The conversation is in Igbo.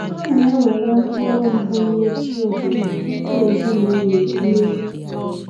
A na ewere mkpụrụ mbụ nye chi obodo tupu ezinụlọ erie